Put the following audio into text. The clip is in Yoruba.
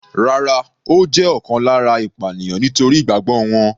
Rárá, ó jẹ́ ọ̀kan lára ìpànìyàn nítorí ìgbàgbọ́ wọn.